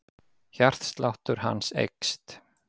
Hjartsláttur hans eykst.